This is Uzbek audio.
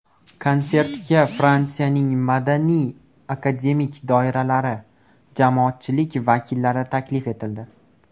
Konsertga Fransiyaning madaniy, akademik doiralari, jamoatchilik vakillari taklif etildi.